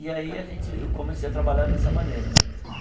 E aí a gente eu comecei a trabalhar dessa maneira né.